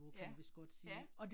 Ja, ja